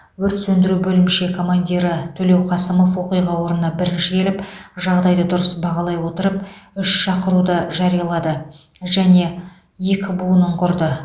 өрт сөндіру бөлімше командирі төлеуқасымов оқиға орнына бірінші келіп жағдайды дұрыс бағалай отырып үш шақыруды жариялады және екі буынын құрды